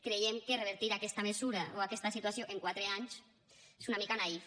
creiem que revertir aquesta mesura o aquesta situació en quatre anys és una mica naïf